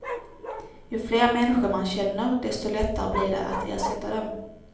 Ju fler människor man känner, desto lättare blir det att ersätta dem.